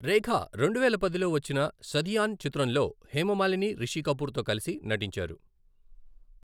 రేఖా రెండువేల పదిలో వచ్చిన సదియాన్ చిత్రంలో హేమమాలిని, రిషి కపూర్తో కలిసి నటించారు.